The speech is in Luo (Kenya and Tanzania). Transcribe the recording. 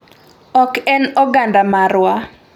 Ok en oganda marwa."